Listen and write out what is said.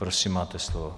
Prosím, máte slovo.